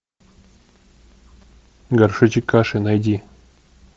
горшочек каши найди